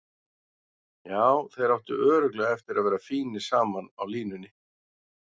Já, þeir áttu örugglega eftir að vera fínir saman á línunni.